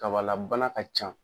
Kabala bana ka ca.